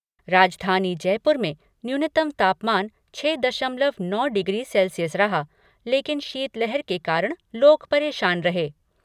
राजधानी जयपुर में न्यूनतम तापमान छः दशमलव नौ डिग्री सेल्सियस रहा लेकिन शीतलहर के कारण लोग परेशान रहे।